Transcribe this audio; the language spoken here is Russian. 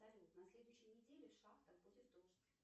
салют на следующей неделе в шахтах будет дождь